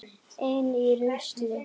Ein í rusli.